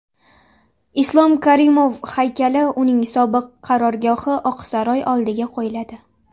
Islom Karimov haykali uning sobiq qarorgohi Oqsaroy oldiga qo‘yiladi .